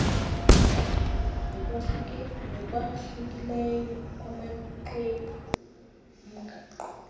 ngokwahlukileyo kumaxwebhu omgaqo